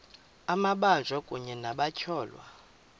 amabanjwa kunye nabatyholwa